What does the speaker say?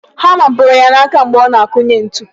Hama kụrụ ya n'aka mgbe ọ na-akụnye ntu.